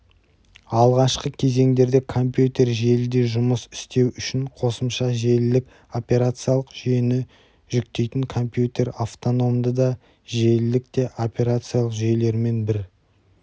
алғашқы кезеңдерде компьютер желіде жұмыс істеу үшін қосымша желілік операциялық жүйені жүктейтінкомпьютер автономды да желілік те операциалық жүйелермен бір